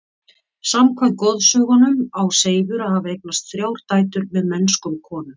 Samkvæmt goðsögunum á Seifur að hafa eignast þrjár dætur með mennskum konum.